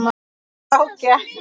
Þá gekk